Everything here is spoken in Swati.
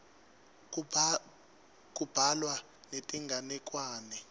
kubhalwa netinganekwane